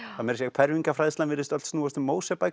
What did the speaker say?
fermingarfræðslan virðist öll snúast um